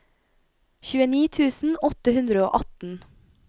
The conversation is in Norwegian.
tjueni tusen åtte hundre og atten